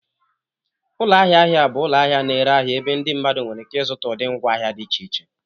Ụlọ ahịa ahịa bụ ụlọ ahịa na-ere ahịa ebe ndị mmadụ nwere ike ịzụta ụdị ngwaahịa dị iche iche